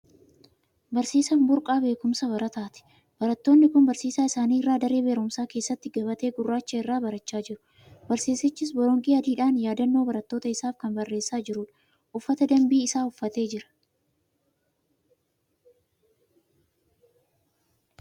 Barsiisaan burqaa beekumsa barataati. Barattoonni kun barsiisaa isaanii irraa daree barumsaa keessatti gabatee gurraacha irraa barachaa jiru. Barsiisichis boronqii adiidhaan yaadannoo barattoota isaaf kan barreessaa jirudha. Uffata dambii isaa uffatee jira.